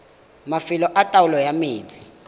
mafelo a taolo ya metsi